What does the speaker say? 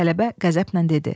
tələbə qəzəblə dedi.